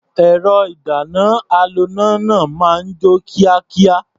Ẹ̀rọ-ìdáná-aloná náà máa ń jó kíákíá.